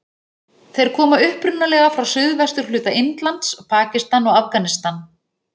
Þeir koma upprunalega frá suðvesturhluta Indlands, Pakistan og Afganistan.